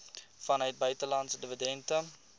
vanuit buitelandse dividende